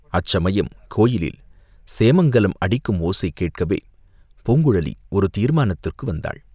அச்சமயம் கோயிலில் சேமங்கலம் அடிக்கும் ஓசை கேட்கவே, பூங்குழலி ஒரு தீர்மானத்துக்கு வந்தாள்.